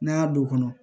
N'a y'a don kɔnɔ